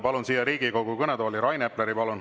Palun siia Riigikogu kõnetooli Rain Epleri.